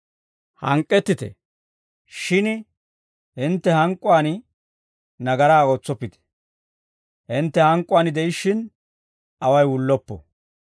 Hank'k'ettite; shin hintte hank'k'uwaan nagaraa ootsoppite. Hintte hank'k'uwaan de'ishshin, away wulloppo.